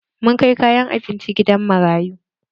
Mun kai kayan abinci gidan marayu.